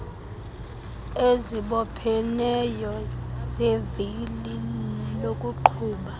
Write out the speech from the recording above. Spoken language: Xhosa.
ezibopheneyo zevili lakuqhuba